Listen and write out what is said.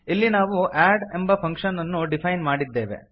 ಇಲ್ಲಿ ನಾವು ಅಡ್ ಎಂಬ ಫಂಕ್ಷನ್ ಅನ್ನು ಡಿಫೈನ್ ಮಾಡಿದ್ದೇವೆ